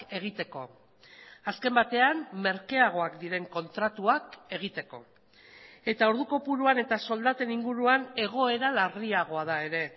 egiteko azken batean merkeagoak diren kontratuak egiteko eta ordu kopuruan eta soldaten inguruan egoera larriagoa da ere